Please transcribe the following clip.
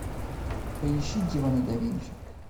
поищи демоны да винчи